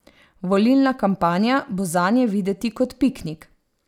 Volilna kampanja bo zanje videti kot piknik.